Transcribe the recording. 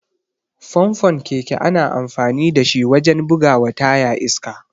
Famfon keke ana amfani dashi wajen bugawa taya iska.